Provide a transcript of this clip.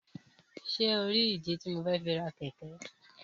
Ṣe o ri ìdí tí mo fẹ fi ra. kẹkẹ?